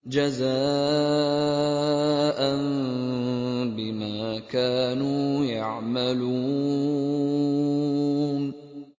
جَزَاءً بِمَا كَانُوا يَعْمَلُونَ